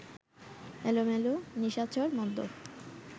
এলোমেলো, নিশাচর, মদ্যপ